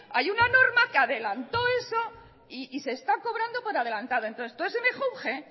hay una norma que adelantó eso y se está cobrando por adelantado entonces todo ese mejunje